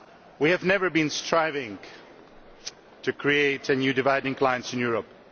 We have never been striving to create new dividing lines in Europe.